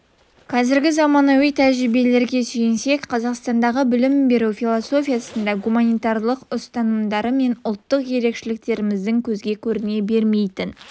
қазіргі заманауи тәжірибелерге сүйенсек қазақстандағы білім беру философиясында гуманитарлық ұстанымдары мен ұлттық ерекшеліктеріміздің көзге көріне бермейтін